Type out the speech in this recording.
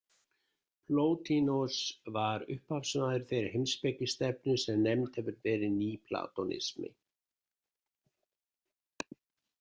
Plótinos var upphafsmaður þeirrar heimspekistefnu sem nefnd hefur verið nýplatonismi.